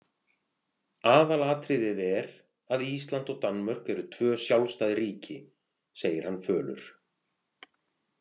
Aðalatriðið er að Ísland og Danmörk eru tvö sjálfstæð ríki, segir hann fölur.